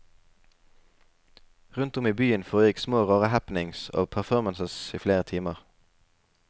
Rundt om i byen foregikk små rare happenings og performances i flere timer.